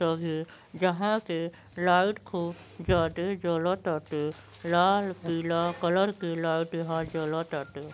जहां के लाइट खूब ज्यादे जलताटे। लाल पीला कलर के लाइट यहां जलताटे।